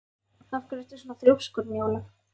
Af hverju ertu svona þrjóskur, Njóla?